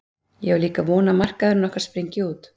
Ég á líka von á að markmaðurinn okkar spryngi út.